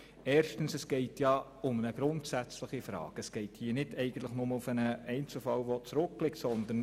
Erstens geht es um eine grundsätzliche Frage und nicht einfach nur um einen zurückliegenden Einzelfall.